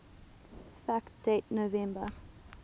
fact date november